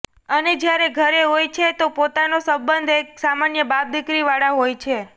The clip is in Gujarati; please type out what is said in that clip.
અને જયારે ઘરે હોય છે તો પોતાના સંબંધ એક સામાન્ય બાપ દીકરી વાળા હોય છે